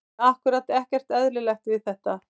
Nei ákkúrat ekkert eðlilegt við þetta.